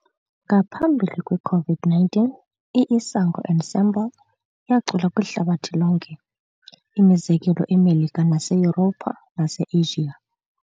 Ngaphambili kweCOVID-19, i-Isango Ensemble yacula kwihlabathi lonke, imizekelo eMelika naseYuropha naseAsiya.